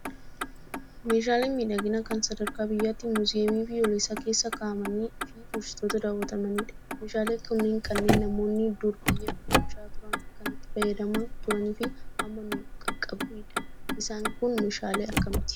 Meeshaaleen miidhaginaa kan sadarkaa biyyaatti muuziyeemii biyyoolessaa keessa kaa'amanii fi turistootaan daawwatanmanidha. Meeshaaleen kunneen kanneen namoonni dur biyya bulchaa turan kan itti fayyadamaa turanii fi amma nu qaqqabedha. Isaan kun meeshaalee akkamiiti?